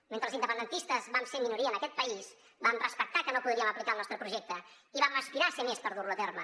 mentre els independentistes vam ser minoria en aquest país vam respectar que no podríem aplicar el nostre projecte i vam aspirar a ser més per dur lo a terme